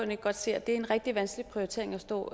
ikke godt se at det er en rigtig vanskelig prioritering at stå